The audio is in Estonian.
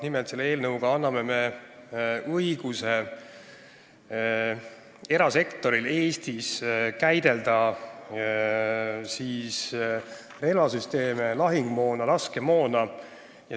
Nimelt, selle eelnõuga anname me erasektorile õiguse Eestis käidelda relvasüsteeme, lahingumoona ja laskemoona.